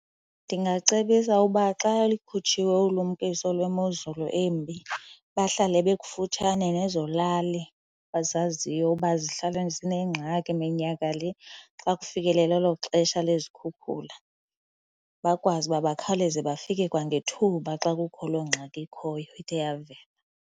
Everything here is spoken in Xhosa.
Ndingacebisa uba xa likhutshiwe ulumkiso lwemozulu embi. Bahlale bekufutshane nezo lali bazaziyo uba zihlala zinengxaki minyaka le xa kufikelela elo xesha lezikhukhula, bakwazi uba bakhawuleze bafike kwangethuba xa kukho loo ngxaki ikhoyo ithe yavela.